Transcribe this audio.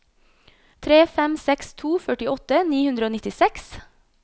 tre fem seks to førtiåtte ni hundre og nittiseks